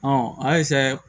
a